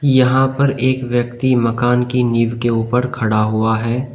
यहां पर एक व्यक्ति मकान की नींव के ऊपर खड़ा हुआ है।